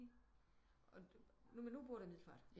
Men nu bor du i Middelfart